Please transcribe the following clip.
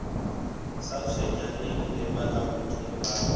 sa tshwenyaneng le bokahodimo ba